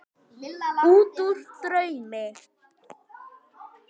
Útúr draumi.